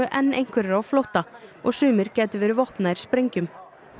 enn einhverjr á flótta og sumir gætu verið vopnaðir sprengjum